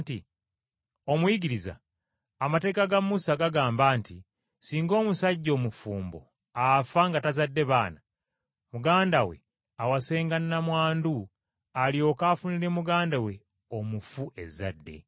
“Omuyigiriza, amateeka ga Musa gagamba nti ssinga omusajja omufumbo afa nga tazadde baana, muganda we awasenga nnamwandu alyoke afunire muganda we omufu ezzadde.